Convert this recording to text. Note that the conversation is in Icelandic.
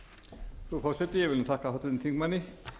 frú forseti ég vil þakka háttvirtum þingmanni